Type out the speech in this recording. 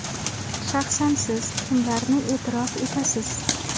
Shaxsan siz kimlarni e’tirof etasiz?